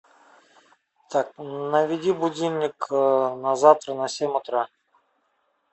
так наведи будильник на завтра на семь утра